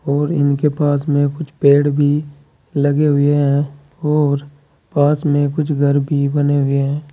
और इनके पास में कुछ पेड़ भी लगे हुए हैं और पास में कुछ घर भी बने हुए हैं।